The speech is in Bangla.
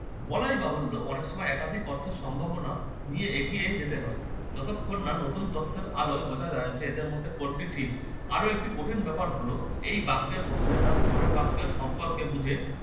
বলাই বাহুল্য অনেক সময় একাধিক অর্থের সম্ভাবনা নিয়ে এগিয়ে যেতে হয়, যতক্ষণ না নতুন তথ্যের আলোয় বোঝা যায় যে এদের মধ্যে কোনটি ঠিক। আরো একটি কঠিন ব্যাপার হলো এই বাক্যের মধ্যে তার পরের বাক্যের সম্পর্ক বুঝে